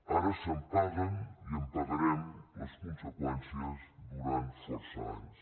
ara se’n paguen i en pagarem les conseqüències durant força anys